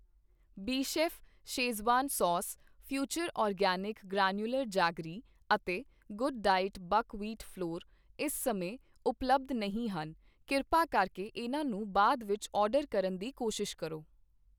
Bechef schezwan sauce, future organic granular jaggery ਅਤੇ ਗੱਡਡਾਈਟ buckwheat flavour ਇਸ ਸਮੇਂ ਉਪਲਬਧ ਨਹੀਂ ਹਨ ਕਿਰਪਾ ਕਰਕੇ ਇਹਨਾਂ ਨੂੰ ਬਾਅਦ ਵਿੱਚ ਆਰਡਰ ਕਰਨ ਦੀ ਕੋਸ਼ਿਸ਼ ਕਰੋ